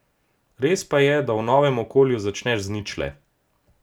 Res pa je, da v novem okolju začneš z ničle.